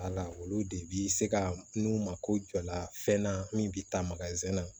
olu de bi se ka n'u mako jɔ la fɛn na min bi taa na